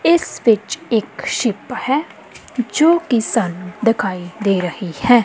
ਇਸ ਵਿਚ ਇੱਕ ਸ਼ਿਪ ਹੈ ਜੋ ਜੀ ਸਾਨੂੰ ਦੇਖਾਈ ਦੇ ਰਹੀ ਹੈ।